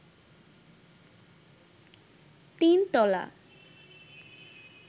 তিন তলা